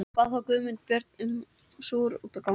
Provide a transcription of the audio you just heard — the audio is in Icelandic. Bað þá Guðmundur Björn með sér út ganga.